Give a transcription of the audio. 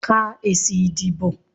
Ka èsì ìdìbò.